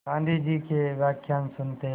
गाँधी जी के व्याख्यान सुनते